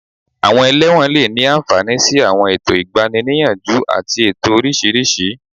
Àwọn ẹlẹ́wọ̀n lè ní àǹfààní sí àwọn ètò ìgbani-níyànjú àti ètò oríṣiríṣi